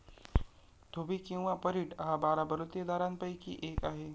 धोबी किंवा परीट हा बारा बलुतेदारांपैकी एक आहे.